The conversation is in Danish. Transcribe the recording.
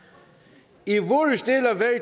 ikke vi